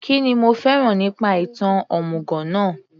Kínní o fẹ́ràn nípa ìtàn òmùgọ̀ náà